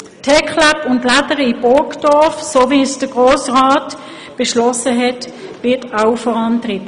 Auch das TecLab und die «Lädere» (Technische Fachschule) in Burgdorf werden, wie es der Grosse Rat beschlossen hat, vorangetrieben.